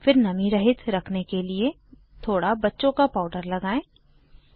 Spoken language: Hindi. फिर नमी रहित रखने के लिए थोड़ा बच्चों का पाउडर लगाएं